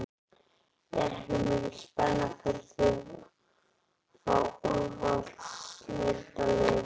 Er ekki mikil spenna fyrir því að fá úrvalsdeildarlið vestur?